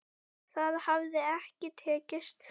Það hafi ekki tekist.